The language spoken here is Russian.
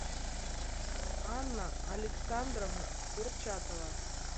анна александровна курчатова